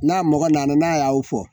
N'a mɔgɔ nana n'a y'aw fɔ